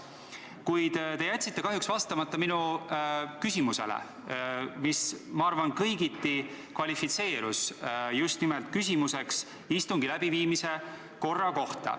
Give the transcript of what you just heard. Kuid kahjuks te jätsite vastamata minu küsimusele, mis, ma arvan, kvalifitseerus kõigiti just nimelt küsimuseks istungi läbiviimise korra kohta.